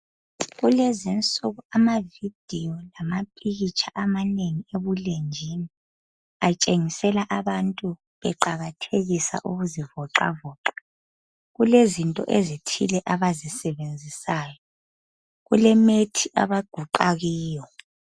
Kulezi insuku amavidiyo lamapikitsha amanengi ebulenjini atshengisela abantu beqakathekisa ukuzivoxavoxa kulezinto ezithile abazisebenzisayo kulemethi abaguqa kiyo.